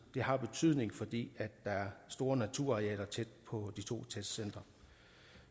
det har betydning fordi der er store naturarealer tæt på de to testcentre